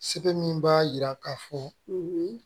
Sɛbɛn min b'a jira k'a fɔ